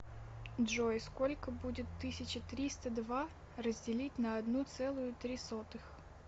джой сколько будет тысяча триста два разделить на одну целую три сотых